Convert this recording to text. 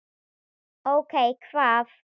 Ókei. hvað?